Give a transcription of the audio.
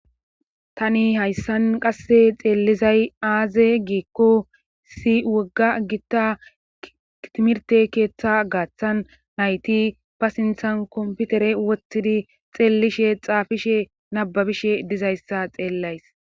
tani hayssan qasse xeellizay aaze giikko si wogga gitta kitimirte keeththa gaaththan nayti pa sinthan komputere wottidi xeellishe xaafishe nababishe dizayssa xeellays